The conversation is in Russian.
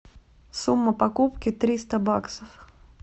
сумма покупки триста баксов